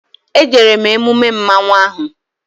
E jere m emume mmanwụ ahụ